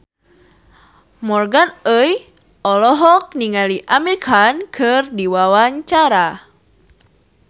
Morgan Oey olohok ningali Amir Khan keur diwawancara